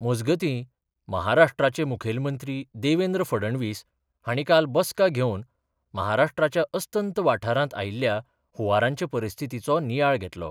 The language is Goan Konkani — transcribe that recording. मजगतीं, महाराष्ट्राचे मुखेलमंत्री देवेंद्र फडणवीस हांणी काल बसका घेवन महाराष्ट्राच्या अस्तंत वाठारांत आयिल्ल्या हुंवाराचे परिस्थितीचो नियाळ घेतलो.